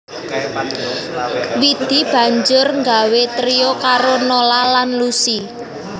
Widi banjur nggawé trio karo Nola lan Lusi